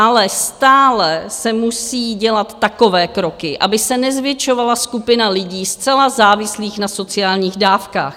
Ale stále se musí dělat takové kroky, aby se nezvětšovala skupina lidí zcela závislých na sociálních dávkách.